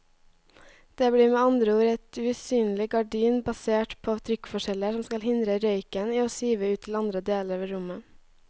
Det blir med andre ord et usynlig gardin basert på trykkforskjeller som skal hindre røyken i å sive ut til andre deler av rommet.